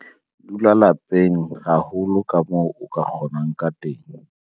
Dula lapeng haholo kamoo o ka kgonang ka teng.